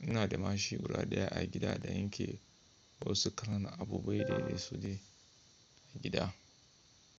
ina da mashin guda ɗaya a gida da ake basu karana abubuwa daidai su da gida.